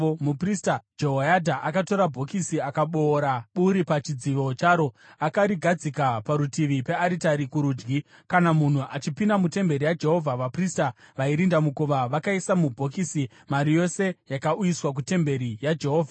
Muprista Jehoyadha akatora bhokisi akaboora buri pachidzivo charo. Akarigadzika parutivi pearitari, kurudyi kana munhu achipinda mutemberi yaJehovha. Vaprista vairinda mukova vakaisa mubhokisi mari yose yakauyiswa kutemberi yaJehovha.